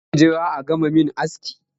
Za ki jira a gama yi min aski?